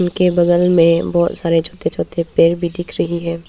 के बगल में बहोत सारे छोटे छोटे पेड़ भी दिख रही है।